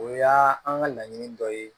O y'a an ka laɲini dɔ ye